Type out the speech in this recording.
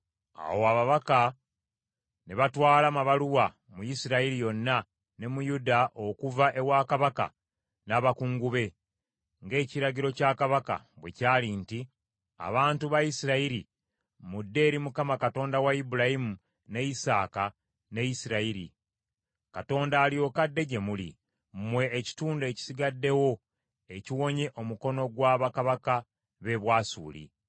Awo ababaka ne batwala amabaluwa mu Isirayiri yonna ne mu Yuda okuva ewa kabaka n’abakungu be, ng’ekiragiro kya kabaka bwe kyali nti, “Abantu ba Isirayiri, mudde eri Mukama Katonda wa Ibulayimu, ne Isaaka, ne Isirayiri, Katonda alyoke adde gye muli, mmwe ekitundu ekisigaddewo, ekiwonye omukono gwa bakabaka b’e Bwasuli.